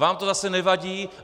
Vám to zase nevadí.